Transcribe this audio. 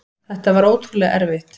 Þetta var ótrúlega erfitt.